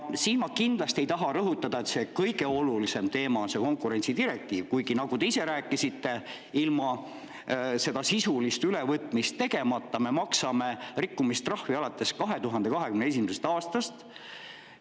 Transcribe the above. Ma kindlasti ei taha rõhutada, et kõige olulisem teema on see konkurentsidirektiiv, kuigi nagu te ise rääkisite, kuna see sisuline ülevõtmine on tegemata, oleme me maksnud rikkumistrahvi alates 2021. aastast.